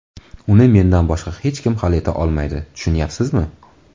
Uni mendan boshqa hech kim hal eta olmaydi, tushunyapsizmi?